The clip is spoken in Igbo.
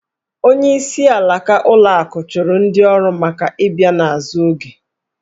Onyeisi alaka ụlọ akụ chụrụ ndị ọrụ maka ị bịa n’azụ oge